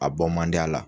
A bɔ man di a la